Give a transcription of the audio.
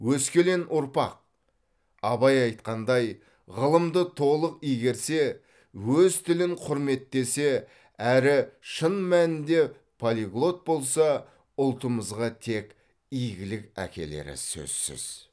өскелең ұрпақ абай айтқандай ғылымды толық игерсе өз тілін құрметтесе әрі шын мәнінде полиглот болса ұлтымызға тек игілік әкелері сөзсіз